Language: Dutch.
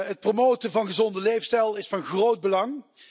Het promoten van een gezonde levensstijl is van groot belang.